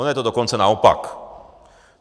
Ono je to dokonce naopak.